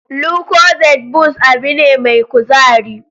Lucozade boost abin ne mai kuzari